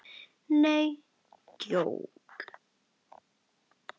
Nei, djók.